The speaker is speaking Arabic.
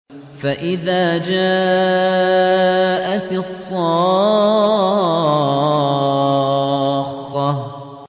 فَإِذَا جَاءَتِ الصَّاخَّةُ